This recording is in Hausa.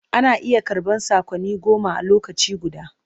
Ana iya karɓan saƙonni goma a lokaci guda.